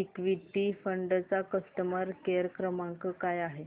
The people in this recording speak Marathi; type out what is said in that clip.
इक्वीटी फंड चा कस्टमर केअर क्रमांक काय आहे